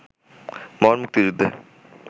মহান মুক্তিযুদ্ধে